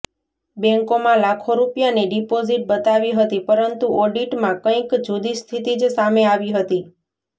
બેંકોમાં લાખો રૂપિયાની ડિપોઝીટ બતાવી હતી પરંતુ ઓડિટમાં કંઈક જુદી સ્થિતિ જ સામે આવી હતી